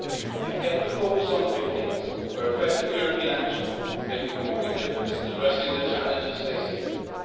We have kept the focus on the big things, where effective European action can make a concrete difference in addressing the challenges facing Europe.